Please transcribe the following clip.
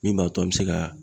Min b'a to an bɛ se ka